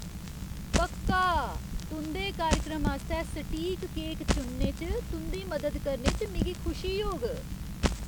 पक्का! तुं'दे कार्यक्रम आस्तै सटीक केक चुनने च तुं'दी मदद करने च मिगी खुशी होग।